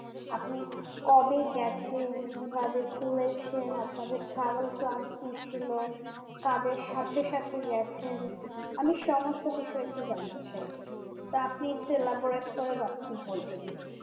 আপনি কবে গেছেন কিভাবে ঘুরেছেন আপনাদের travel plan কি ছিল কাদের সাথে সাথে গেছেন আমি সমস্ত কিছু একটু জানে চাই তা আপনি একটু laborate করে বলবেন